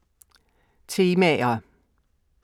Temaer